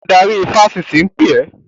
Adarí ifásitì ń pè ẹ́!